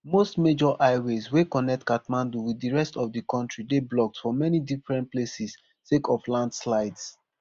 most major highways wey connect kathmandu wit di rest of di kontri dey blocked for many different places sake of landslides